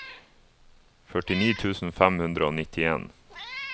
førtini tusen fem hundre og nittien